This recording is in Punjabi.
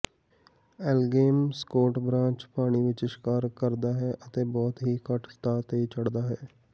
ਐਲਗੇਮ ਸਕੋਟਬ੍ਰਾਂਚ ਪਾਣੀ ਵਿਚ ਸ਼ਿਕਾਰ ਕਰਦਾ ਹੈ ਅਤੇ ਬਹੁਤ ਹੀ ਘੱਟ ਸਤਹ ਤੇ ਚੜ੍ਹਦਾ ਹੈ